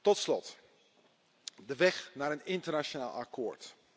Tot slot de weg naar een internationaal akkoord.